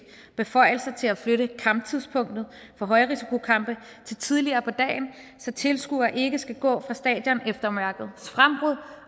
beføjelser til at flytte kamptidspunktet for højrisikokampe til tidligere på dagen så tilskuere ikke skal gå fra stadion efter mørkets frembrud